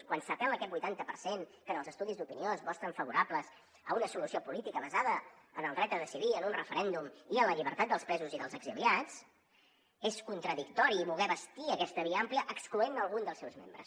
quan s’apel·la a aquest vuitanta per cent que en els estudis d’opinió es mostren favorables a una solució política basada en el dret a decidir en un referèndum i en la llibertat dels presos i dels exiliats és contradictori voler bastir aquesta via àmplia excloent ne algun dels seus membres